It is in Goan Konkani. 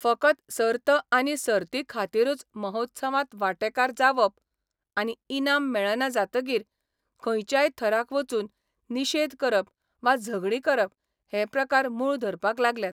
फकत सर्त आनी सर्ती खातीरूच महोत्सवांत वांटेकार जावप आनी इनाम मेळना जातकीर खंयच्याय थराक वचून निशेध करप वा झगडीं करप हे प्रकार मूळ धरपाक लागल्यात.